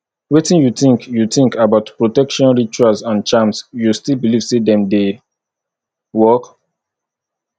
wetin you think you think about protection rituals and charms you still believe say dem dey work